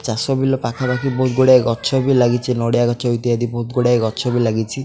ଚାଷ ବିଲ ପାଖାପାଖି ବୋହୁତ୍ ଗୁଡ଼ାଏ ଗଛ ବି ଲାଗିଚି ନଡ଼ିଆ ଗଛ ଇତ୍ୟାଦି ବୋହୁତ୍ ଗୁଡ଼ାଏ ଗଛ ବି ଲାଗିଚି।